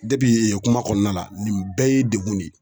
Depi yen kuma kɔnɔna la nin bɛɛ ye degun de ye